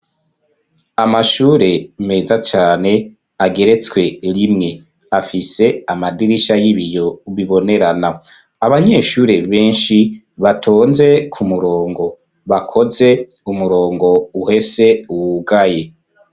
Amashure meza cane ageretswe rimwe afise amadirisha y'ibiyo bibonerana abanyeshure benshi batonze ku murongo bakoze umurongo uhese wugaye.